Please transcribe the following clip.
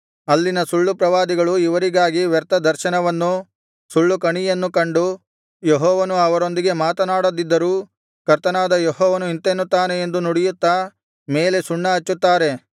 ಅಲ್ಲಿನ ಸುಳ್ಳು ಪ್ರವಾದಿಗಳು ಇವರಿಗಾಗಿ ವ್ಯರ್ಥ ದರ್ಶನವನ್ನೂ ಸುಳ್ಳು ಕಣಿಯನ್ನೂ ಕಂಡು ಯೆಹೋವನು ಅವರೊಂದಿಗೆ ಮಾತನಾಡದಿದ್ದರೂ ಕರ್ತನಾದ ಯೆಹೋವನು ಇಂತೆನ್ನುತ್ತಾನೆ ಎಂದು ನುಡಿಯುತ್ತಾ ಮೇಲೆ ಸುಣ್ಣ ಹಚ್ಚುತ್ತಾರೆ